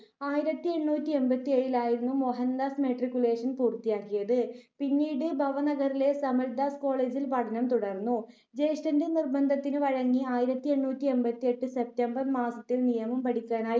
ആയിരത്തി എണ്ണൂറ്റി എൺപത്തി ഏഴിൽ ആയിരുന്നു മോഹൻ‍ദാസ് matriculation പൂർത്തിയാക്കിയത്. പിന്നീട് ഭവനഗറിലെ സമൽദാസ് college ഇൽ പഠനo തുടർന്നു. ജ്യേഷ്ഠന്റെ നിർബന്ധത്തിനു വഴങ്ങി ആയിരത്തി എണ്ണൂറ്റി എൺപത്തി എട്ട് September മാസത്തിൽ നിയമം പഠിക്കാനായി